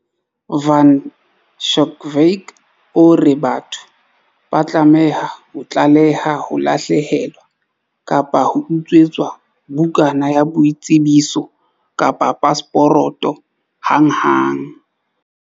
Van Schalkwyk o re batho ba tlameha ho tlaleha ho lahlehelwa kapa ho utswetswa bukana ya boitsebiso kapa pasporoto hanghang.